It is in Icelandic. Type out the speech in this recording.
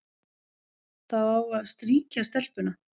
Það á að strýkja stelpuna,